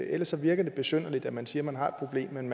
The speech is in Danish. ellers virker det besynderligt at man siger man har et problem men